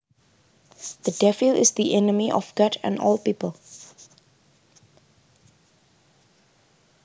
The Devil is the enemy or God and all people